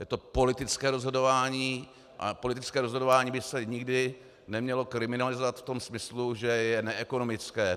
Je to politické rozhodování a politické rozhodování by se nikdy nemělo kriminalizovat v tom smyslu, že je neekonomické.